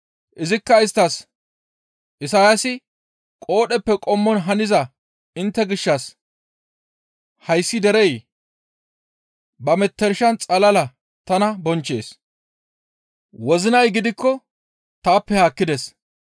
Izikka isttas, «Isayaasi qoodheppe qommon haniza intte gishshas, ‹Hayssi derey ba metershan xalala tana bonchchees; wozinay gidikko taappe haakkides.